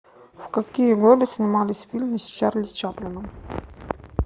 в какие годы снимались фильмы с чарли чаплином